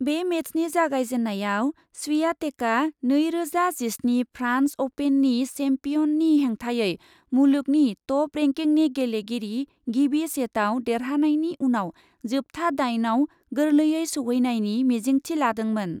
बे मेचनि जागायजेन्नायाव स्वियातेकआ नैरोजा जिस्नि फ्रान्स अपेननि सेम्पियननि हेंथायै मुलुगनि टप रेंकिंनि गेलेगिरि गिबि सेटआव देरहानायनि उनाव जोबथा दाइनआव गोर्लेयै सौहैनायनि मिजिंथि लादोंमोन।